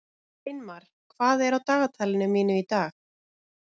Sveinmar, hvað er á dagatalinu mínu í dag?